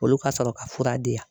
Olu ka sɔrɔ ka fura di yan.